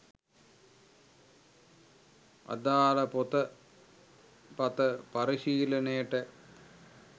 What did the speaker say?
අදාල පොත පත පරිශීලනයට